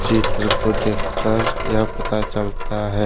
चित्र को देखकर यह पता चलता है।